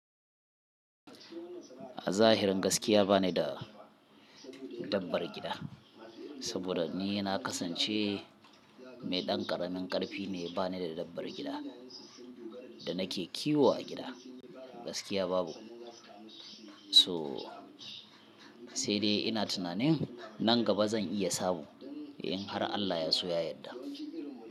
A zahirin gaskiya ba ni da dabbar gida, saboda ni na kasance mai ɗan ƙaramin ƙarfi, mai ba ni da dabbar gida da nake kiwo a gida. Gaskiya babu. So sai dai ina tunanin nan gaba zan iya samu in har Allah ya so ya yadda.